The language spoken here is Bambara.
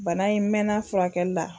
Bana in n mɛna a furakɛlila.